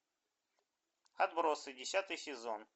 отбросы десятый сезон